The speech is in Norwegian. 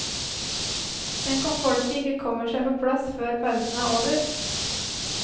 Tenk om folket ikke kommer seg på plass før pausen er over.